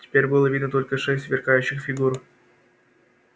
теперь было видно только шесть сверкающих фигур